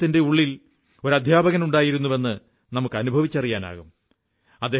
എന്നാൽ അദ്ദേഹത്തിന്റെയുള്ളിൽ ഒരു അധ്യാപകനുണ്ടായിരുന്നുവെന്ന് നമുക്ക് അനുഭവിച്ചറിയാനാകും